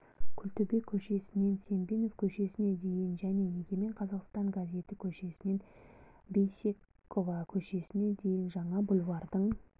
күлтөбе көшесінен сембинов көшесіне дейін және егемен қазақстан газеті көшесінен бейсекова көшесіне дейін жаңа бульвардың